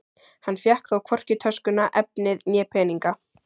Hann fékk þó hvorki töskuna, efnið né peninga.